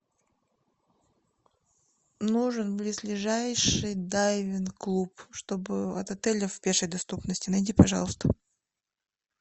нужен близлежащий дайвинг клуб чтобы от отеля в пешей доступности найди пожалуйста